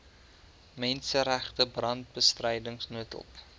menseregte brandbestryding noodhulp